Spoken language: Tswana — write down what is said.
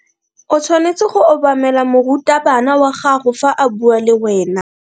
O tshwanetse go obamela morutabana wa gago fa a bua le wena.